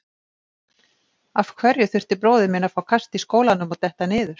Af hverju þurfti bróðir minn að fá kast í skólanum og detta niður?